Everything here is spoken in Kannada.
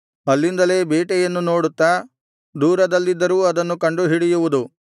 ಅಲ್ಲಿಂದಲೇ ಬೇಟೆಯನ್ನು ನೋಡುತ್ತಾ ದೂರದಲ್ಲಿದ್ದರೂ ಅದನ್ನು ಕಂಡುಹಿಡಿಯುವುದು